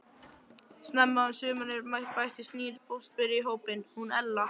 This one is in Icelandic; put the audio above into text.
Snemma um sumarið bættist nýr póstberi í hópinn, hún Ella.